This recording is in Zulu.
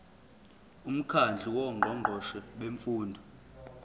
umkhandlu wongqongqoshe bemfundo